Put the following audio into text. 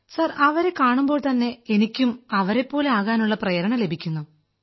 sir അവരെ കാണുമ്പോൾത്തന്നെ എനിക്കും അവരെപ്പോലെ ആകാനുള്ള പ്രേരണ ലഭിക്കുന്നു